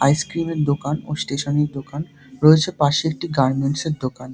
Ice cream - এর দোকান ও স্টেশন - এর দোকান রয়েছে পাশে একটি গার্মেন্টস এর দোকান ।